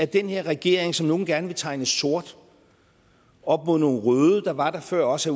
den her regering som nogle gerne vil tegne sort op mod nogle røde der var der før os